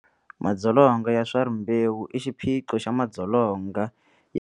Madzolonga ya swa rimbewu i xiphiqo xa madzolonga ya.